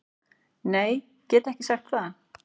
Nei, get ekki sagt það